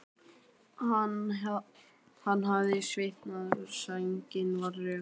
Hann hafði svitnað og sængin var rök.